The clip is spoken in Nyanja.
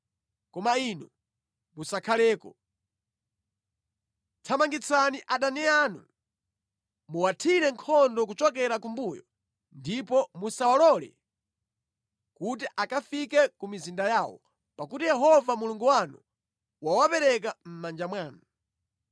Koma inu musakhaleko! Thamangitsani adani anu, muwathire nkhondo kuchokera kumbuyo ndipo musawalole kuti akafike ku mizinda yawo, pakuti Yehova Mulungu wanu wawapereka mʼmanja mwanu.”